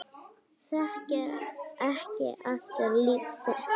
Þekkir ekki aftur líf sitt